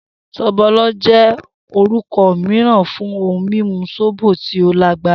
Sobolo jẹ́ orúkọ mìíràn fún ohun mímu sóbò tí ó lágbára.